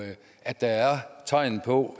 at der er tegn på